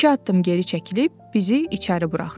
İki addım geri çəkilib bizi içəri buraxdı.